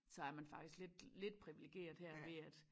Så er man faktisk lidt lidt priviligeret her ved at